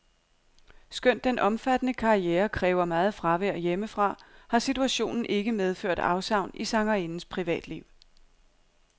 Skønt den omfattende karriere kræver meget fravær hjemmefra, har situationen ikke medført afsavn i sangerindens privatliv.